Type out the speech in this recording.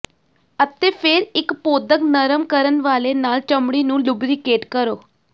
ਅਤੇ ਫਿਰ ਇੱਕ ਪੌਧਕ ਨਰਮ ਕਰਨ ਵਾਲੇ ਨਾਲ ਚਮੜੀ ਨੂੰ ਲੁਬਰੀਕੇਟ ਕਰੋ